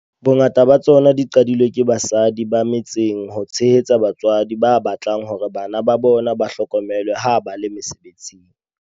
Bongata ba tsona di qadilwe ke basadi ba me tseng ho tshehetsa batswadi ba batlang hore bana ba bona ba hlokomelwe ha ba le mose betsing.